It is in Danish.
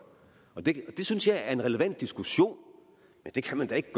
og det synes jeg er en relevant diskussion men det kan da ikke